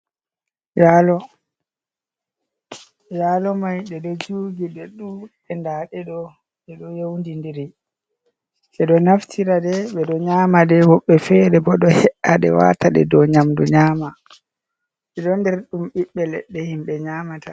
Yalo mai de do jugi de dudi nda ɗeɗo e do yaudindiri be do naftira nden ɓe ɗo nyama de himɓe fere bo ɗo ade wata ɗe dow nyamdu nyama ɓe ɗo nder ɗum ɓiɓɓe leɗɗe himɓe nyamata.